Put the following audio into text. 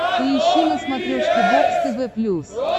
поищи на смотрешке бокс тв плюс